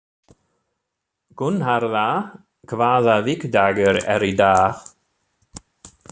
Gunnharða, hvaða vikudagur er í dag?